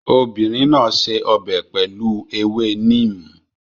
Obìnrin náà ṣe ọbẹ̀ pẹ̀lú ewé neem